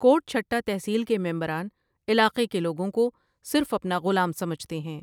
کوٹ چهٹہ تحصیل کے ممبران علاقے کے لوگوں کو صرف اپنا غلام سمجھتے ہیں ۔